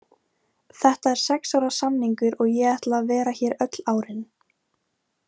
Þetta er sex ára samningur og ég ætla að vera hér öll árin.